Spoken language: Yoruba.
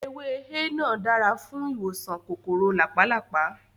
Ewé énà dáa fún ìwòsàn kòkòrò làpálàpá